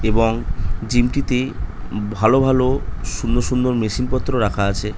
এবং জিম - টিতে ভালো ভালো সুন্দর সুন্দর মেশিন পত্র রাখা আছে --